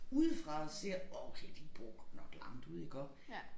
Udefra ser okay de bor godt nok langt ude iggå